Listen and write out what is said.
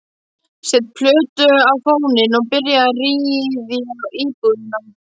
Set plötu á fóninn og byrja að ryðja íbúðina.